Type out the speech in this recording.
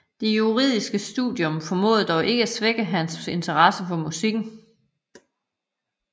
Det juridiske studium formåede dog ikke at svække hans interesse for musikken